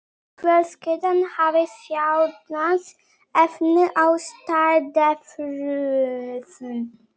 Fjölskyldan hafði sjaldnast efni á strandferðum.